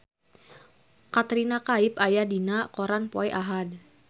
Katrina Kaif aya dina koran poe Ahad